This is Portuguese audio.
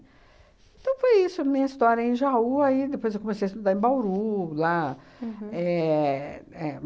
Então, foi isso, minha história em Jaú, aí depois eu comecei a estudar em Bauru, lá éh é